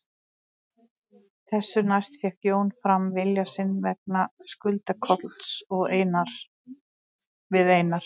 Þessu næst fékk Jón fram vilja sinn vegna skulda Kolls við Einar